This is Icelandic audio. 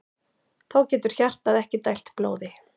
Þá getur hjartað ekki dælt blóði.